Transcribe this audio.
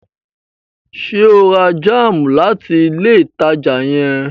Ṣe o rà jam láti ilé ìtàjà yen?